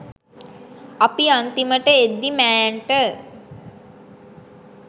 අපි අන්තිමට එද්දි මෑන්ට